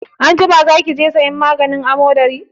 Anjima za ki je sayan maganin amodari?